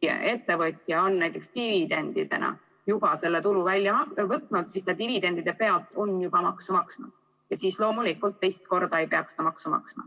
ettevõtja on näiteks dividendidena juba selle tulu välja võtnud, siis nende dividendide pealt on juba maksu makstud ja loomulikult teist korda ei peaks ta maksu maksma.